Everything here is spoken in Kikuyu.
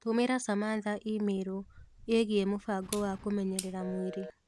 Tũmĩra Samantha i-mīrū ĩgiĩ mũbango wa kũmenyerera mwĩrĩ